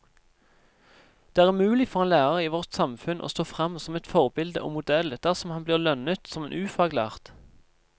Det er umulig for en lærer i vårt samfunn å stå frem som et forbilde og modell dersom han blir lønnet som en ufaglært.